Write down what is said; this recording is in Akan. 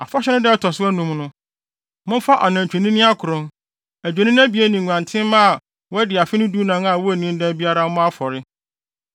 “ ‘Afahyɛ no da a ɛto so anum no, momfa anantwinini akron, adwennini abien ne nguantenmma a wɔadi afe no dunan a wonnii dɛm biara mmɔ afɔre.